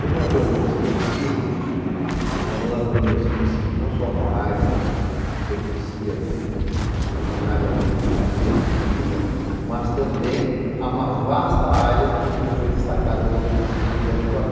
Como ela tornou-se município, ela tornou-se município não só com a área que pertencia originariamente à empresa Colniza, mas também a uma vasta área que foi destacada do município de Aripuanã.